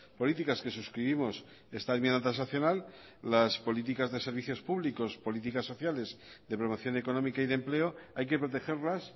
políticas que suscribimos esta enmienda transaccional las políticas de servicios públicos políticas sociales de promoción económica y de empleo hay que protegerlas